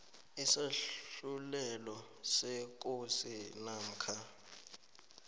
isahlulelo sekosi namkha